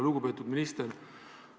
Lugupeetud minister!